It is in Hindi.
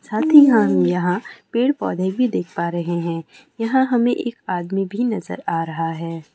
साथ ही हम यहां पेड़ पौधे भी देख पा रहे हैं। यहां हमें एक आदमी भी नजर आ रहा है।